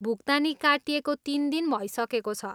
भुक्तानी काटिएको तिन दिन भइसकेको छ।